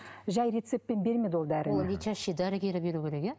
жай рецептпен бермейді ол дәріні лечащий дәрігері беруі керек иә